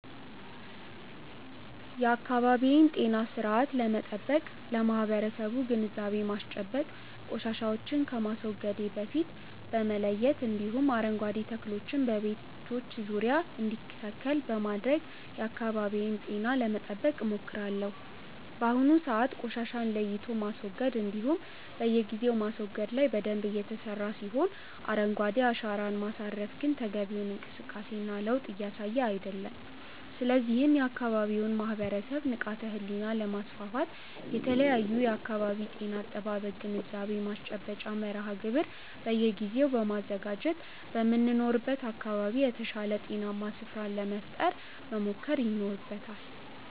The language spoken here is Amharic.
የአካባቢዬን ጤና ስርአት ለመጠበቅ ለማበረሰቡ ግንዛቤ ማስጨበጥ፣ ቆሻሻዎችን ከማስወገዴ በፊት በመለየት እንዲሁም አረንጓዴ ተክሎችን በቤቶች ዙሪያ እንዲተከል በማድረግ የአካባቢዬን ጤና ለመጠበቅ ሞክራለሁ። በአሁኑ ሰዓት ቆሻሻን ለይቶ ማስወገድ እንዲሁም በየጊዜው ማስወገድ ላይ በደንብ እየተሰራ ሲሆን አረንጓዴ አሻራን ማሳረፍ ግን ተገቢውን እንቅስቃሴ እና ለዉጥ እያሳየ አይደለም። ስለዚህም የአካባቢውን ማህበረሰብ ንቃተ ህሊና ለማስፋት የተለያዩ የአካባቢ ጤና አጠባበቅ ግንዛቤ ማስጨበጫ መርሃ ግብር በየጊዜው በማዘጋጀት በምንኖርበት አካባቢ የተሻለ ጤናማ ስፍራን ለመፍጠር መሞከር ይኖርበታል።